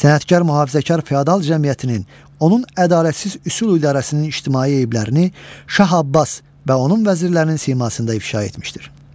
Sənətkar mühafizəkar feodal cəmiyyətinin, onun ədalətsiz üsul idarəsinin ictimai eyblərini Şah Abbas və onun vəzirlərinin simasında ifşa etmişdir.